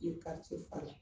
I ye fɔ a la